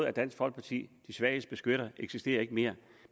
at dansk folkeparti de svages beskytter eksisterer mere